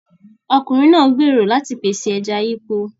Ọkùnrin náà gbèrò láti pèsè ẹja yípo.